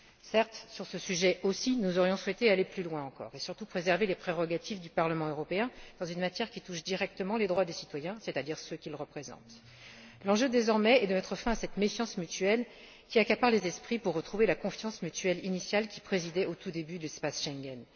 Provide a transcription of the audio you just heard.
Certes, sur ce sujet aussi, nous aurions souhaité aller plus loin encore et surtout préserver les prérogatives du Parlement européen dans une matière qui touche directement les droits des citoyens, c'est à dire ceux qu'il représente. L'enjeu, désormais, est de mettre fin à cette méfiance mutuelle qui habite les esprits afin de retrouver la confiance mutuelle initiale qui présidait au tout début de l'espace Schengen.